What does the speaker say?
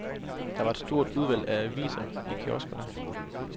Der var et stort udvalg af aviser i kioskerne.